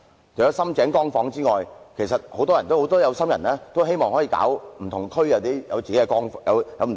除了"深井光房"外，很多有心人也希望在不同地區推出"光房"。